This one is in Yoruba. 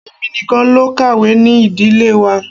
Èmi nìkan ló kàwé ní Ìdílé wa.